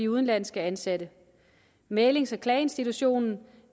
udenlandske ansatte mæglings og klageinstitutionen